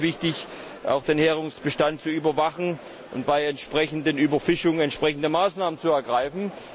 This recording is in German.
Natürlich ist es wichtig, auch den Heringsbestand zu überwachen, und bei entsprechender Überfischung entsprechende Maßnahmen zu ergreifen.